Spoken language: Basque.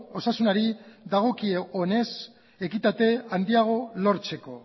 osasunari dagokionez ekitate handiago lortzeko